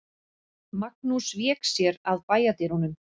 Magnús vék sér að bæjardyrunum.